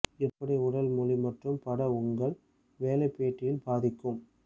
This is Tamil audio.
எப்படி உடல் மொழி மற்றும் பட உங்கள் வேலை பேட்டியில் பாதிக்கும்